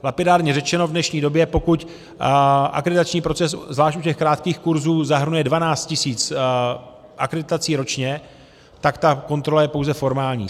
Lapidárně řečeno, v dnešní době, pokud akreditační proces zvlášť u těch krátkých kurzů zahrnuje 12 tisíc akreditací ročně, tak ta kontrola je pouze formální.